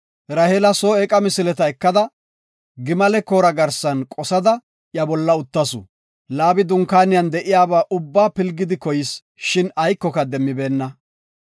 Raheela soo eeqa misileta ekada gimale koora garsan qosada iya bolla uttasu. Laabi dunkaaniyan de7iyaba ubba pilgidi koyis. Shin aykoka demmibeenna.